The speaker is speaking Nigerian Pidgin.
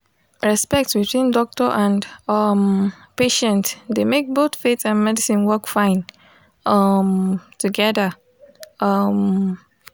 respect between doctor and um patient dey make both faith and medicine work fine um together. um